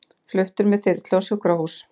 Fluttur með þyrlu á sjúkrahús